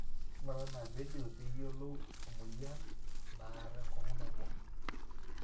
ng'ura ina vedio pee iyiolou ina mweyian naar enkong'u nabo